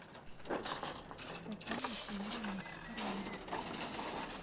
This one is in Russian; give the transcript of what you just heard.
татьяной семеновной тарановой